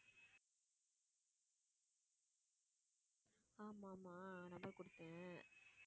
ஆமா, ஆமா நான் தான் குடுத்தேன்